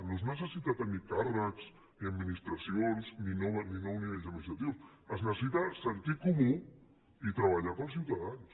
no es necessita tenir càrrecs ni administracions ni nous nivells administratius es necessita sentit comú i treballar pels ciutadans